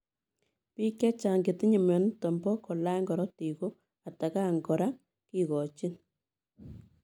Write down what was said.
Piik chechaang chetinye mionitok poo kolany korotik ko atakaan kora kikochiin